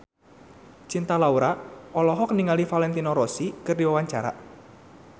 Cinta Laura olohok ningali Valentino Rossi keur diwawancara